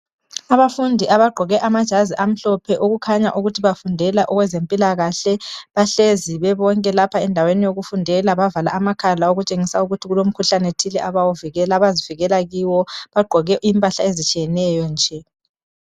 Abafundi abagqoke amajazi amhlophe okukhanya ukuthi bafundela okwezempilakahle bahlezi bebonke lapha endaweni yokufundela bavala amakhala okutshengisa ukuthi kulomkhuhlane thile abazivikela kiwo. Bagqoke impahla ezitshiyeneyo nje.